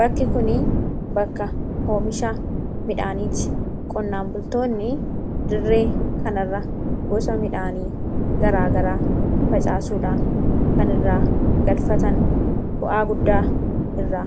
Bakki kun bakka oomishaa midhaaniitti. Qonnaan bultoonni dirree kan irra gosa midhaanii garaa garaa facaasuudhaan kan irra galfatan bu'aa guddaa irra